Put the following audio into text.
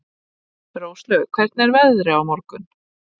Róslaug, hvernig er veðrið á morgun?